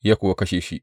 Ya kuwa kashe shi.